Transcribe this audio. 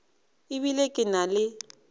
e bile ke na le